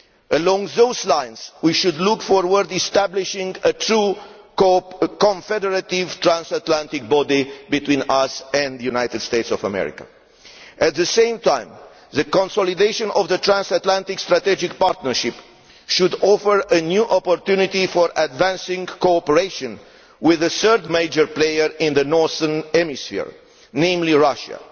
Along those lines, we should look towards establishing a true confederative transatlantic body between us and the United States of America. At the same time, the consolidation of the transatlantic strategic partnership should offer a new opportunity for advancing cooperation with the third major player in the northern hemisphere, namely Russia.